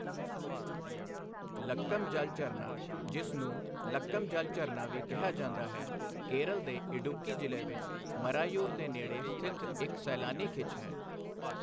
ਲੱਕਮ ਜਲ ਝਰਨਾ, ਜਿਸ ਨੂੰ ਲੱਕਮ ਜਲ ਝਰਨਾ ਵੀ ਕਿਹਾ ਜਾਂਦਾ ਹੈ, ਕੇਰਲ ਦੇ ਇਡੁੱਕੀ ਜ਼ਿਲ੍ਹੇ ਵਿੱਚ ਮਰਾਯੂਰ ਦੇ ਨੇੜੇ ਸਥਿਤ ਇੱਕ ਸੈਲਾਨੀ ਖਿੱਚ ਹੈ।